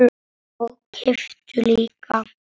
Og kepptu líka.